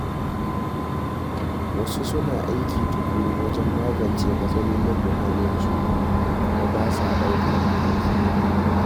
Wasu suna aiki tuƙuru wajen magance matsalolin muhallinsu kuma ba sa daukar mataki.